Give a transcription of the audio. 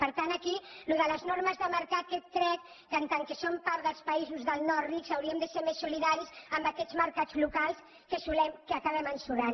per tant aquí allò de les normes de mercat crec que en tant que som part dels països del nord ric hauríem de ser més solidaris amb aquests mercats locals que acabem ensorrant